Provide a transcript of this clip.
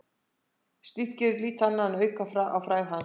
Slíkt gerði lítið annað en að auka á frægð hans.